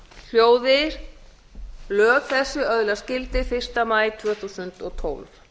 hljóði lög þessi öðlast gildi fyrsta maí tvö þúsund og tólf